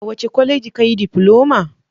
A wace kwaleji ka yi difiloma?